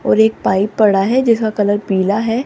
और एक पाइप पड़ा है जिसका कलर पीला है।